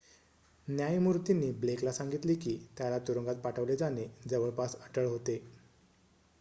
"न्यायमूर्तीनी Blake ला सांगितले की त्याला तुरुंगात पाठवले जाणे "जवळपास अटळ" होते.